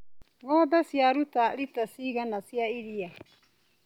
Ngombe ciaruta rita cigana cia iria.